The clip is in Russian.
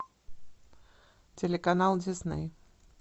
телеканал дисней